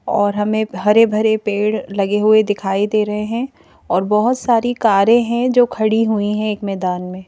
और हमें हरे भरे पेड़ लगे हुए दिखाई दे रहे हैं और बहोत सारी कारें हैं जो खड़ी हुई हैं एक मैदान में--